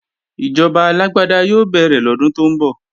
Ìjọba alágbáda yóò bẹ̀rẹ̀ lọ́dún tó ń bọ̀